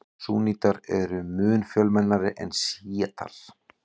Súnnítar eru mun fjölmennari en sjítar.